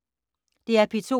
DR P2